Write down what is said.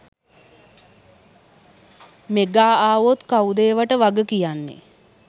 Mega ආවොත් කවුද ඒවාට වගකියන්නේ?